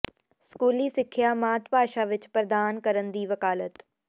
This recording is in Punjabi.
ਸਕੂਲੀ ਸਿੱਖਿਆ ਮਾਤ ਭਾਸ਼ਾ ਵਿੱਚ ਪ੍ਰਦਾਨ ਕਰਨ ਦੀ ਵਕਾਲਤ